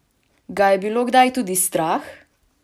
Ga je bilo kdaj tudi strah?